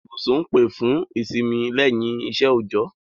Ibúsùn n pè fùn ìsínmí lẹ́yìn isẹ́ òòjọ́